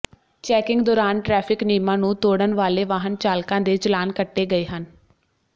checking ਦੌਰਾਨ traffic ਨਿਯਮਾਂ ਨੂੰ ਤੋੜਨ ਵਾਲੇ ਵਾਹਨ ਚਾਲਕਾਂ ਦੇ ਚਲਾਨ ਕੱਟੇ ਗਏ ਹਨ